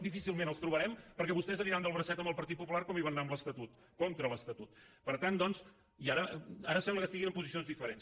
difícilment els hi trobarem perquè vostès aniran del bracet amb el partit popular com hi van anar amb l’estatut contra l’estatut i ara sembla que estiguin en posicions diferents